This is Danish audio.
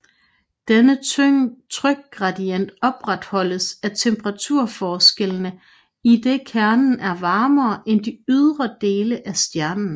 Denne trykgradient opretholdes af temperaturforskellene idet kernen er varmere end de ydre dele af stjernen